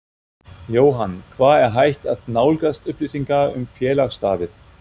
Jóhann: Hvar er hægt að nálgast upplýsingar um félagsstarfið?